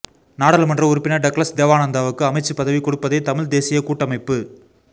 நாடாளுமன்ற உறுப்பினர் டக்ளஸ் தேவானந்தாவுக்கு அமைச்சு பதவி கொடுப்பதைதமிழ் தேசியக் கூட்டமைப்பு